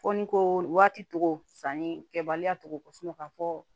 Fɔ ni ko waati togo sanni kɛbaliya togo ko kɔ ka fɔ